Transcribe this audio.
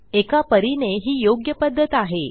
एका परीने ही योग्य पध्दत आहे